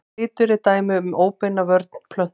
Litur er dæmi um óbeina vörn plöntu.